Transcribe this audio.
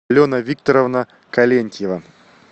алена викторовна калентьева